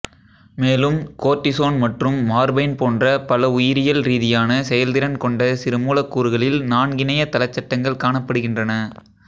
மேலும் கோர்ட்டிசோன் மற்றும் மார்பைன் போன்ற பல உயிரியல் ரீதியான செயல்திறன் கொண்ட சிறு மூலக்கூறுகளில் நான்கிணைய தலச்சட்டங்கள் காணப்படுகின்றன